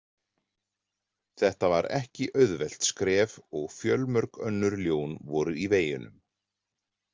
Þetta var ekki auðvelt skref og fjölmörg önnur ljón voru í veginum.